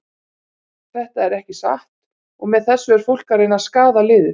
Þetta er ekki satt og með þessu er fólk að reyna að skaða liðið.